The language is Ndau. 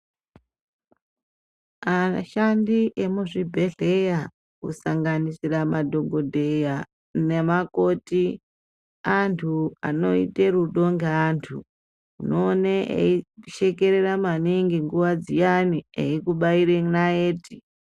Ashandi emuzvibhendleya kusanganira madhokodheya nemakoti antu anoita rudo ngeantu. Unoona eishekerera maningi nguwa dziyani eikubaira naiti.